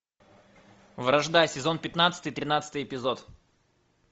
вражда сезон пятнадцатый тринадцатый эпизод